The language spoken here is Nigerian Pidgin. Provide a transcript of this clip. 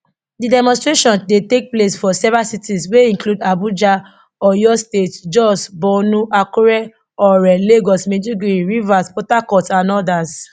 di demonstration dey take place for several cities wey include abuja oyo state jos borno akure ore lagos maiduguri rivers port harcourt and odas